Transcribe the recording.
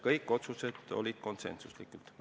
Kõik otsused olid konsensuslikud.